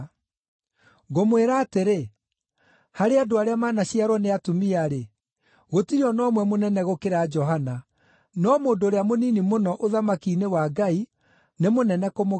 Ngũmwĩra atĩrĩ, harĩ andũ arĩa manaciarwo nĩ atumia-rĩ, gũtirĩ o na ũmwe mũnene gũkĩra Johana; no mũndũ ũrĩa mũnini mũno ũthamaki-inĩ wa Ngai, nĩ mũnene kũmũkĩra.”